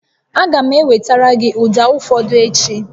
Aga m ewetara gị ụda ụfọdụ echi